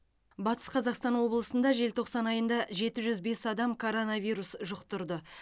батыс қазақстан облысында желтоқсан айында жеті жүз бес адам коронавирус жұқтырды